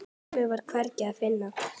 Mömmu var hvergi að finna.